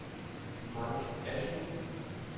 Mike Asmussen